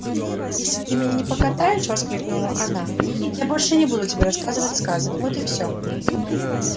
если ты меня не покатаешь воскликнула она я больше не буду тебе рассказывать сказок вот и всё